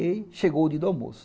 E aí, chegou o dia do almoço.